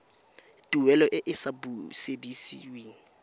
tuelo e e sa busediweng